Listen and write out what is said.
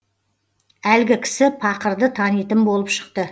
әлгі кісі пақырды танитын болып шықты